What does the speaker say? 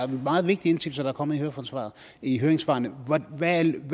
meget vigtige indsigelser der er kommet i høringssvarene hvad